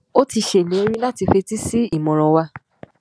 ó ti ṣèlérí láti fetí sí ìmọràn wa